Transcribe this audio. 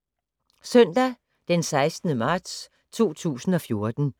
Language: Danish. Søndag d. 16. marts 2014